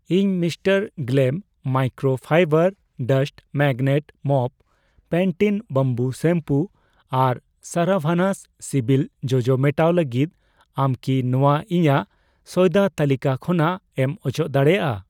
ᱤᱧ ᱢᱨ ᱜᱞᱮᱢ microfiber dust magnet mop, ᱯᱮᱱᱴᱤᱱ ᱵᱟᱢᱵᱩ ᱥᱮᱢᱯᱩ ᱟᱨ ᱥᱟᱨᱟᱵᱷᱟᱱᱟᱥ ᱥᱤᱵᱤᱞ ᱡᱚᱡᱚ ᱢᱮᱴᱟᱣ ᱞᱟᱹᱜᱤᱫ, ᱟᱢ ᱠᱤ ᱱᱚᱣᱟ ᱤᱧᱟᱜ ᱥᱚᱭᱫᱟ ᱛᱟᱹᱞᱤᱠᱟ ᱠᱷᱚᱱᱟᱜ ᱮᱢ ᱚᱪᱚᱜ ᱫᱟᱲᱮᱭᱟᱜᱼᱟ ?